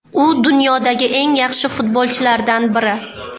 U dunyodagi eng yaxshi futbolchilardan biri.